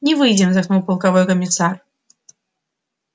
не выйдем вздохнул полковой комиссар